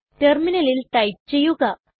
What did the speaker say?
ടെർമിനലിൽ ടൈപ്പ് ചെയ്യുക